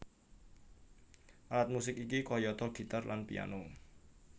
Alat musik iki kayata gitar lan piano